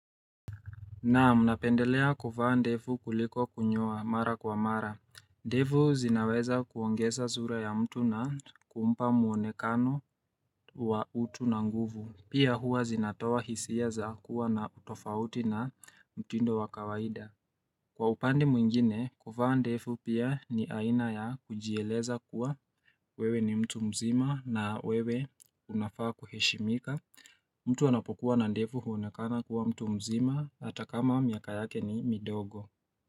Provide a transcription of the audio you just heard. Naam, napendelea kuvaa ndefu kuliko kunyoa mara kwa mara. Ndefu zinaweza kuongeza zura ya mtu na kumpa muonekano wa utu na nguvu. Pia huwa zinatoa hisia za kuwa na utofauti na mtindo wa kawaida. Kwa upande mwingine, kuvaa ndefu pia ni aina ya kujieleza kuwa wewe ni mtu mzima na wewe unafaa kuheshimika. Mtu anapokuwa na ndefu huonekana kuwa mtu mzima hata kama miaka yake ni midogo.